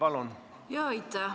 Aitäh!